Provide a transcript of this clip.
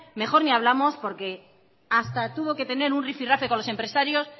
mejor ni hablamos porque hasta tuvo que tener un rifirrafe con los empresarios